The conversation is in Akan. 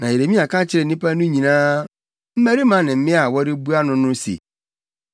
Na Yeremia ka kyerɛɛ nnipa no nyinaa; mmarima ne mmea a wɔrebua no no se,